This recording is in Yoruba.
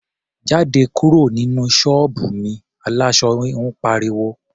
"Jáde kúrò nínú ṣọ́ọ̀bù mi!", aláṣọ híhun pariwo.